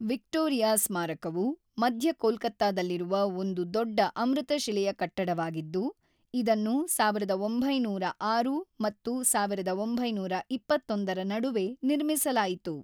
Victoria ಸ್ಮಾರಕವು ಮಧ್ಯ ಕೋಲ್ಕತ್ತಾದಲ್ಲಿರುವ ಒಂದು ದೊಡ್ಡ ಅಮೃತಶಿಲೆಯ ಕಟ್ಟಡವಾಗಿದ್ದು, ಇದನ್ನು ೧೯೦೬ ಮತ್ತು ೧೯೨೧ರ ನಡುವೆ ನಿರ್ಮಿಸಲಾಯಿತು.